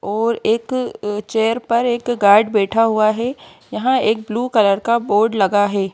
और एकअ चेयर पर एकअ गार्ड बैठा हुआ है यहां एक ब्लू कलर का बोर्ड लगा है।